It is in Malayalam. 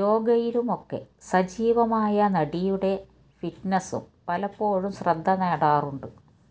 യോഗയിലുമൊക്കെ സജിവമായ നടിയുടെ ഫിറ്റ്നസും പലപ്പോഴും ശ്രദ്ധ നേടാറുണ്ട്